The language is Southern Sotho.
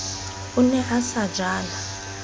o ne a se jala